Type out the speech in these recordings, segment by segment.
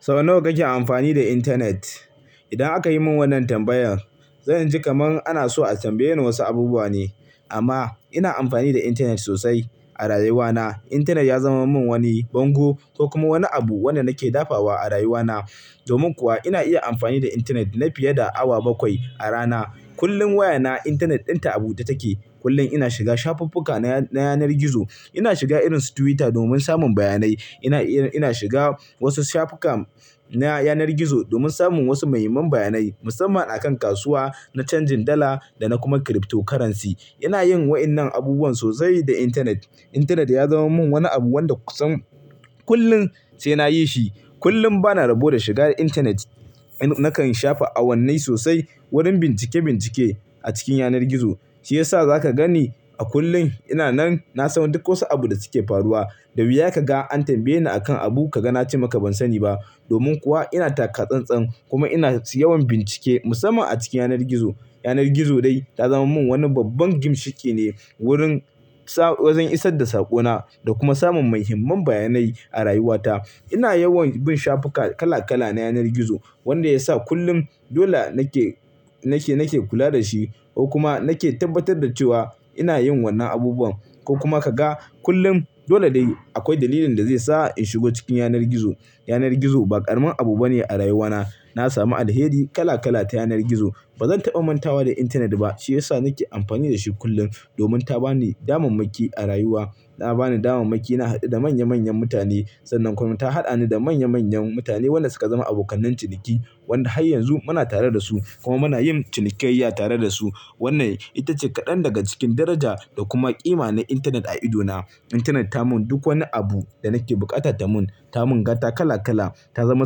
Sau nawa kake amfani da internet? Idan aka yi mun wannan tambayan, zan ji kaman ana so a tambaye ni wosu abubuwa ne. Amma ina amfani da internet sosai a rayuwana. Internet ya zama min woni bongo ko kuma woni abu wanda nake dafawa a rayuwana. Domin kuwa ina iya amfani da internet na fiye da awa bakwai a rana. Kullum waya na, internet ɗinta abu ta take. Kullum ina shiga shafuf-fuka na, na yanar gizo. Ina shiga irin su Twitter domin samun bayanai. Ina iya, ina shiga wasu shafuka na yanar gizo domin samun wosu muhimman bayanai musamman akan kasuwa na canjin dala da na kuma cryptocurrency. Ina yin wa'innan abubuwan sosai da intanet. Internet ya zama min woni abu wanda kusan kullum sai nayi shi. Kullum bana rabo da shiga da Internet. Nakan shafe awannai sosai wurin bincike bincike a cikin yanar gizo. Shi yasa zaka ganni a kullum ina nan na san duk wosu abu da suke faruwa. Da wiya kaga an tambaye ni a kan abu ka ga na ce maka ban sani ba. Domin kuwa ina taka-tsan-tsan kuma ina yawan bincike musamman a cikin yanar gizo. Yanar gizo dai ta zama mun woni babban ginshiƙi ne wurin, wojen isas da saƙona da kuma samun muhimman bayanai a rayuwata. Ina yawan bin shafuka kala kala na yanar gizo wanda ya sa kullum dole nake, nake, nake kula da shi ko kuma nake tabbatar da cewa ina yin wannan abubuwan. Ko kuma kaga kullum dole dai akwai dalilin da zai sa in shigo cikin yanar gizo. Yanar gizo ba ƙaramin abu bane a rayuwana. Na samu alheri kala kala ta yanar gizo. Ba zan taɓa mantawa da internet ba, shi ya sa nake amfani da shi kullum domin ta bani damammaki a rayuwa. Ta bani damammaki, na haɗu da manya manyan mutane sannan kuma ta haɗa ni da manya manyan mutane wanda suka zama abokan ciniki, wanda har yanzu muna tare da su kuma muna yin cinikayya tare da su. Wanna ita ce kaɗan daga cikin daraja da kuma ƙima na intenet a idona. Internet ta mun duk woni abu da nake bukata da mun, ta mun gata kala kala, ta zama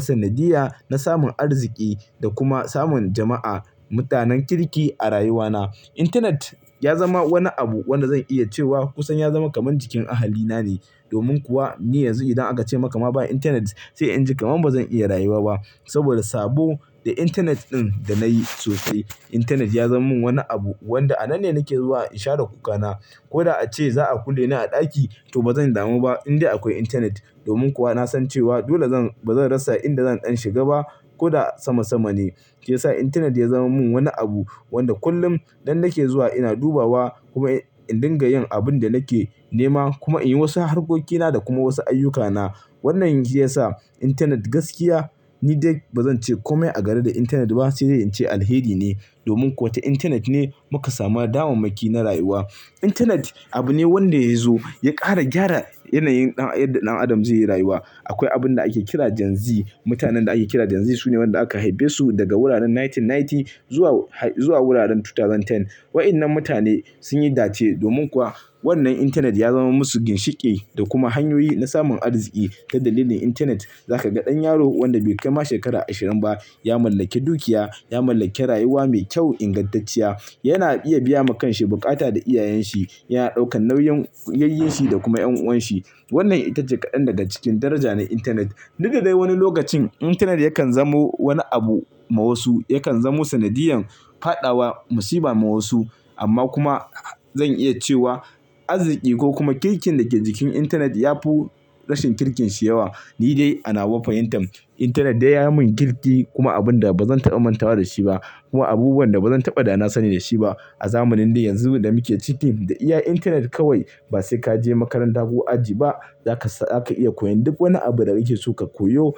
sanadiyya na samun arziki da kuma samun jama'a, mutanen kirki a rayuwana. Internet ya zama woni abu wanda zan iya cewa kusan ya zama kaman jikin ahalina ne. Domin kuwa ni yanzu idan aka ce maka ma ba Internet sai in ji kaman ba zan iya rayuwa ba. Saboda sabo da internet ɗin da nayi sosai. Internet ya zama min woni abu wanda a nan ne nake zuwa in share kuka na. Ko da ace za'a kulle ni a ɗaki to ba zan damu ba in dai akoi internet. Domin kuwa na san cewa dole zan, ba zan rasa inda zan ɗan shiga ba ko da sama sama ne. Shi ya sa internet ya zama min woni abu wanda kullum dan nake zuwa ina dubawa kuma in dinga yin abun da nake nema kuma in yi wasu harkokina da kuma wasu ayyukana. Wannan shi ya sa internet gaskiya ni dai ba zan ce komai a gare da internet ba sai dai in ce alheri ne. Domin kuwa ita internet ne muka samu daman-maki na rayuwa. Internet abu ne wanda yazo ya ƙara gyara yanayin ɗan, yadda ɗan adam zai yi rayuwa. Akwai abun da ake kira Gen Z. Mutanen da ake kira Gen ZU su ne waɗanda aka haife su daga wuraren 1990 zuwa, zuwa wuraren 2010. Wa'innan mutane sun yi dace domin kuwa wannan intanet ya zama musu ginshiƙi da kuma hanyoyi na samun arziki. Ta dalilin intanet za ka ga ɗan yaro wanda bai kai ma shekara ashirin ba ya mallake dukiya, ya mallake rayuwa mai kyau ingantacciya. Yana iya biya ma kan shi bukata da iyayen shi, yana ɗaukan nauyin yayyen shi da kuma yan'uwan shi. Wannan ita ce kaɗan daga cikin daraja na intanet. Didda dai wani lokacin intanet yakan zamo wani abu ma wasu, yakan zamo sanadiyan faɗawa musiba ma wasu amma kuma zan iya cewa arziki ko kuma kirkin da ke jikin intanet ya fi rashin kirkin shi yawa. Ni dai ana wa fahimtan, intanet dai ya yi min kirki kuma abun da ba zan taɓa mantawa da shi ba kuma abubuwan da ba zan taɓa da na sani da shi ba. Azamanin dai yanzu damuke ciki da iya internet kawai basai kaje makaranta ko aji ba zaka iya koyon duk woni abu da kake so kayo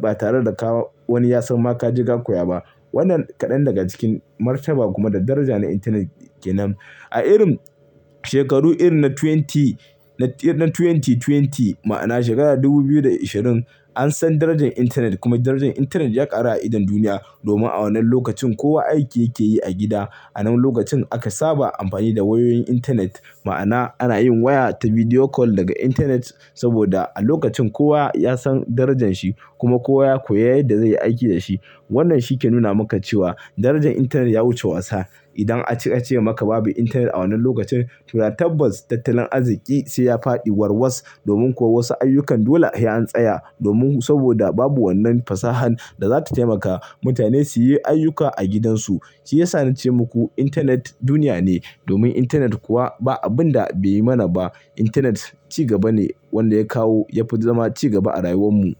batare da woni yasan ka koya ba. Wannan kaɗan daga cikin martaba kuma da daraja na internet kenan. A irin shekaru irin na 20, na 2020 ma'ana shekara ta dubu biyu da isherin an san darajan internet kuma darajan internet yakaru a idon duniya. Domin a wannan lokacin kowa aiki yake yi a gida. Anan lokacin aka saba amfani wayoyin internet ma'ana anayin waya ta video call daga internet saboda alokacin kowa san darajan shi kuma kowa ya koya yadda zaiyi aiki da shi. Wannnan shi ke nuna maka cewa darajan intanet ya wuce wasa. Idan aka ce babu internet a wannan lokacin to da tabbas tattalin arziki sai yafaɗi war was domin kowa wasu ayyukan dole sai an seya domin saboda babu wannan fasahan dazata taimaka mutane su yi aiyuka a gidan su. Shi ya sa na ce muku intanet duniya ne domin intanet kuwa ba abun da bai yi mana ba. Intanet ci gaba ne wanda ya kawo, ya fi zama ci gaba a rayuwan mu.